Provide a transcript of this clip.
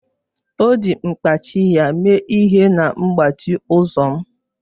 O ji mkpachị ya mee ihe na mgbachi ụzọ m